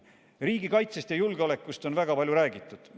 Riigikaitsest ja julgeolekust on väga palju räägitud.